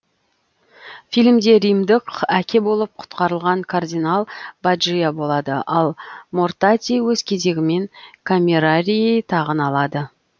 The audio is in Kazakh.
фильмде римдық әке болып құтқарылған кардинал баджиа болады ал мортати өз кезегімен камерарий тағын алады